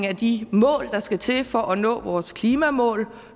af de mål der skal til for at nå vores klimamål